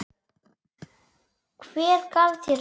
Hver gaf þér það?